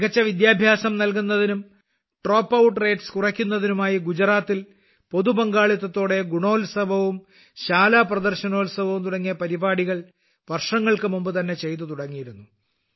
മികച്ച വിദ്യാഭ്യാസം നൽകുന്നതിനും കൊഴിഞ്ഞു പോകൽ നിരക്ക് കുറയ്ക്കുന്നതിനുമായി ഗുജറാത്തിൽ പൊതുപങ്കാളിത്തത്തോടെ ഗുണോത്സവവും ശാല പ്രവേശനോത്സവവും തുടങ്ങിയ പരിപാടികൾ വർഷങ്ങൾക്ക് മുമ്പ് തന്നെ ചെയ്തു തുടങ്ങിയിരുന്നു